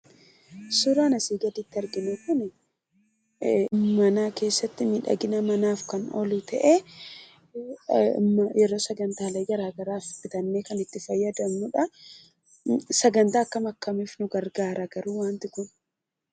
Suuraan asii gadiitti arginu kunii mana keessatti miidhagina manaaf kan oolu ta'ee yeroo sagantaalee garagaraas bitannee kan itti fayyadamnudhaa, sagantaa akkam akkamiif nu gargaara garuu wanti kun?